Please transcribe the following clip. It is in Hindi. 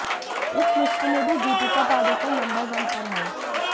इस लिस्ट में भी दीपिका पादुकोण नंबर वन पर हैं